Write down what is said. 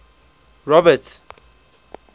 robert